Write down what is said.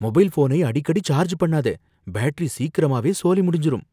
Mobile ஃபோனை அடிக்கடி charge பண்ணாத, பேட்டரி சீக்கிரமாவே சோலி முடிஞ்சுரும்.